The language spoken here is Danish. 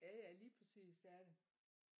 Jaja lige præcis det er det